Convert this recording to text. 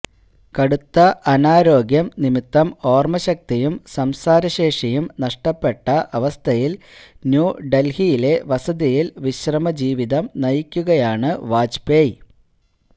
കടുത്ത അനാരോഗ്യം നിമിത്തം ഓര്മശക്തിയും സംസാരശേഷിയും നഷ്ടപ്പെട്ട അവസ്ഥയില് ന്യൂഡല്ഹിയിലെ വസതിയില് വിശ്രമജീവിതം നയിക്കുകയാണ് വാജ്പേയി